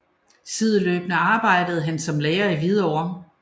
Sideløbende arbejdede han som lærer i Hvidovre